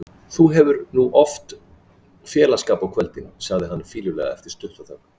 Þú hefur nú oft félagsskap á kvöldin, segir hann fýlulega eftir stutta þögn.